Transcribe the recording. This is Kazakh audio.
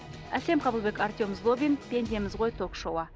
әсем қабылбек артем сгобин пендеміз ғой ток шоуы